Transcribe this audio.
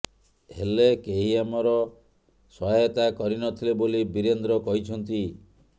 ହେଲେ କେହି ଆମର ସହାୟତା କରିନଥିଲେ ବୋଲି ବୀରେନ୍ଦ୍ର କହିଛନ୍ତି